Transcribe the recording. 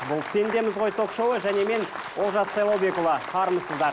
бұл пендеміз ғой ток шоуы және мен олжас сайлаубекұлы армысыздар